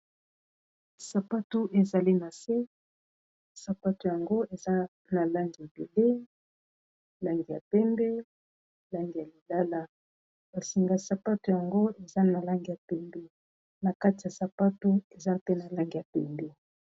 Sapatu ezali na se, sapato yango eza na langi ebele langi ya pembe, langi ya lilala ba singa sapato yango eza na langi ya pembe na kati ya sapatu eza pe na langi ya pembe.